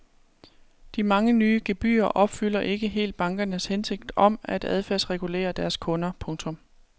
De mange nye gebyrer opfylder ikke helt bankernes hensigt om at adfærdsregulere deres kunder. punktum